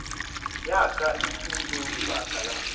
ya ka etulo lebaka la